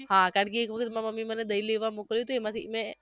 હા કારણકે એક વખત મારી મમ્મીએ મને દહીં લેવા મોકલી તી એમાંથી મેં